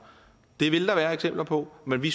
det vil der være eksempler på men vi